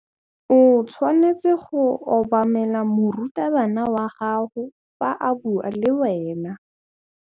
O tshwanetse go obamela morutabana wa gago fa a bua le wena.